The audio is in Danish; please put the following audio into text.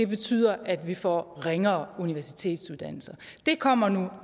betyder at vi får ringere universitetsuddannelser det kommer nu